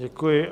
Děkuji.